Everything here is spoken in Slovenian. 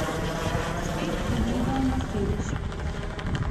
Spet pogledal na sedež.